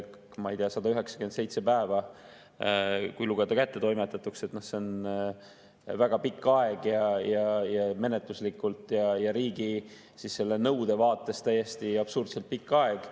Ma ei tea, 197 päeva, kui lugeda kättetoimetatuks, on väga pikk aeg, menetluslikult ja riigi selle nõude vaates täiesti absurdselt pikk aeg.